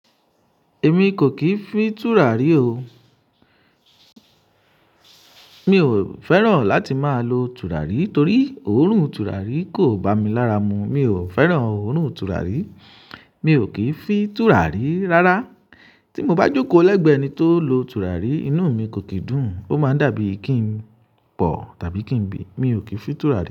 Èmi kò kì í fi tùràrí o. Mi ò fẹ́ràn láti máa lo tùràrí torí òórùn tùràrí kò bá mi lára mu. Mi ò fẹ́ràn òórùn tùràrí, mi ò kì í fi tùràrí rárá. Tí mo bá jókòó lẹ́gbẹ̀ẹ́ ẹni tó lo tùràrí, inú mi kò kì í dùn. Ó máa ń dàbí kí n pọ̀ tàbí kí n bì. Mi ò kì í fi tùràrí.